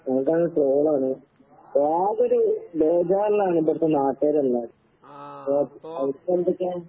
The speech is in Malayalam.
അവടാണെങ്കി ട്രോളാണ്. അപ്പാകൊരു ബേജാറിലാണിവടത്തെ നാട്ട്കാരെല്ലാവരും. അവടത്തെ എന്തൊക്കേ?